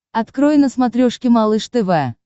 открой на смотрешке малыш тв